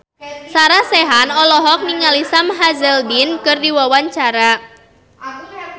Sarah Sechan olohok ningali Sam Hazeldine keur diwawancara